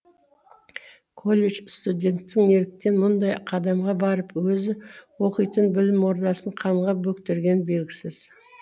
колледж студентінің неліктен мұндай қадамға барып өзі оқитын білім ордасын қанға бөктіргені белгісіз